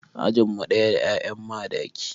Ajin mu ɗaya da 'ya'yan Madaki.